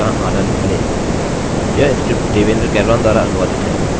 LibreOffice writer में कई भाषाओं के अन्वेषण का आनंद लें यह स्क्रिप्ट देवेन्द्र कैरवान द्वारा अनुवादित है